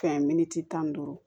Fɛn minti tan ni duuru